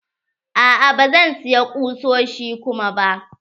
A'a ba zan siya ƙusoshi kuma ba.